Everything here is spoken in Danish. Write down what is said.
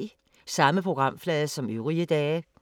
Samme programflade som øvrige dage